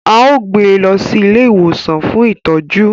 Ao gbé lọ sí ilé ìwòsan fún ìtọjú